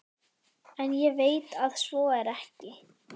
En ég veit að svo er ekki.